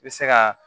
I bɛ se ka